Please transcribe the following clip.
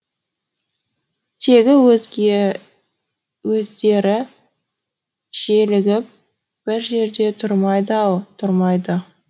тегі өздері желігіп бір жерде тұрмайды ау тұрмайды